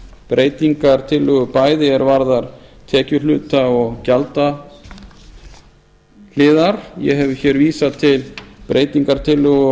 breytingartillögu bæði er varðar tekjuhluta og gjaldahliðar ég hef vísað til breytingartillögu